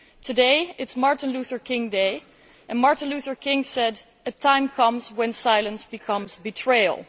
Today is Martin Luther King Day and it was Martin Luther King who said that a time comes when silence becomes betrayal.